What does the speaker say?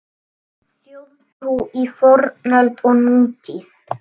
Þjóðtrú í fornöld og nútíð